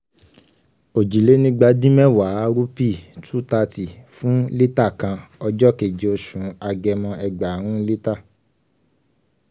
òjìlénígbadínmẹ́wàá rúpì two hundred thirty fún lítà kan ọjọ́ kéje oṣù agẹmọ ẹgbààrún lítà.